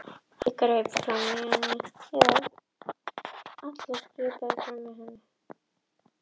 Já, við höfum verið í beinaflutningum annað slagið í sumar, fiskbein, þurrkuð og hörð.